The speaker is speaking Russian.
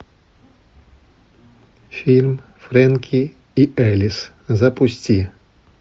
фильм фрэнки и элис запусти